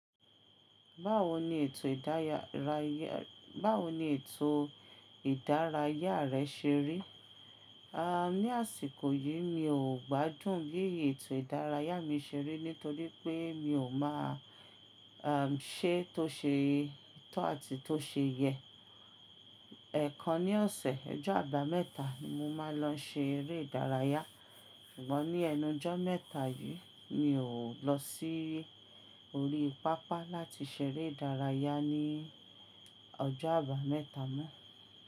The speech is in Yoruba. Báwo ni ètò ìdárayá rẹ ṣe rí? Ní àsìkò yìí mi ò gbádùn bí ètò ìdárayá mi ṣe rí nítorí pé mi ò ṣe bí ó ṣe tọ́ àti tó ṣe yẹ. Ẹ̀ kan ní ọ̀sẹ̀ ọjọ́ àbámẹ́ta ni mo máa ń lọ se eré ìdárayá. Ṣùgbọ́n ní ẹnu ọjọ́ mẹ́ta yìí mi ò lọ sí orí pápá láti ṣeré ìdárayá ní ọjọ́ àbámẹ́ta mọ.